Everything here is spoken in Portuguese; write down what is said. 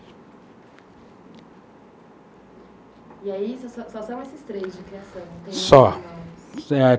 E aí, só só são esses três de criação? Só.